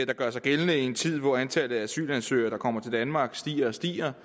der gør sig gældende i en tid hvor antallet af asylansøgere der kommer til danmark stiger og stiger